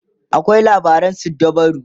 akwai labaran suddabaru